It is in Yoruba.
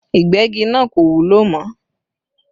Ìgbẹ́gi náà kò wúlò mọ́